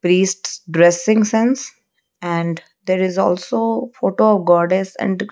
priest dressing sense and there is also photo of goddess and --